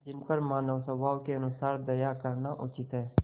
जिन पर मानवस्वभाव के अनुसार दया करना उचित है